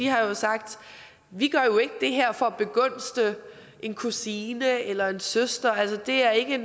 har sagt vi gør jo ikke det her for at begunstige en kusine eller en søster altså det er ikke